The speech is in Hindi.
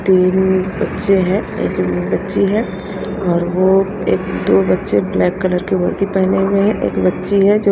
तीन बच्चे हैं एक बच्ची है और वो एक दो बच्चे ब्लैक कलर के वर्दी पहने हुए हैं एक बच्ची है जो--